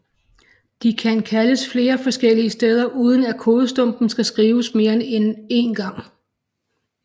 De kan kaldes flere forskellige steder uden at kodestumpen skal skrives mere end en gang